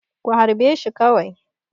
Ku harbe shi kawai!